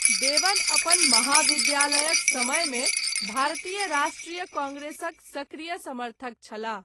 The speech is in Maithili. देवन अपन महाविद्यालयक समयमे भारतीय राष्ट्रीय काँग्रेसक सक्रिय समर्थक छलाह।